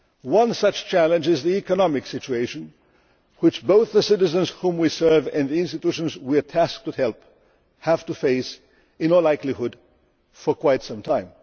One such challenge is the economic situation which both the citizens whom we serve and the institutions we are tasked to help have to face, in all likelihood, for quite some